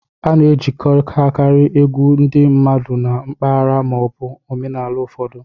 A na-ejikọtakarị egwu ndị mmadụ na mpaghara ma ọ bụ omenala ụfọdụ.